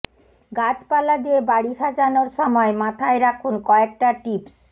গাছপালা দিয়ে বাড়ি সাজানোর সময় মাথায় রাখুন কয়েকটা টিপস